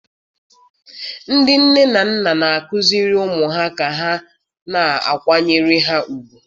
Ndị nne na nna na-akụziri ụmụ ha ka ha na-akwanyere ha ùgwù.